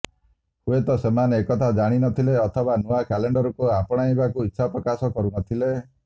ହୁଏତ ସେମାନେ ଏହା ଜାଣି ନଥିଲେ ଅଥବା ନୂଆ କ୍ୟାଲେଣ୍ଡରକୁ ଆପଣାଇବାକୁ ଇଚ୍ଛା ପ୍ରକାଶ କରୁ ନଥିଲେ